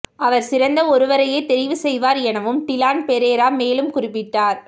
அவர் சிறந்த ஒருவரையே தெரிவு செய்வார் எனவும் டிலான் பெரேரா மேலும் குறிப்பிட்டார்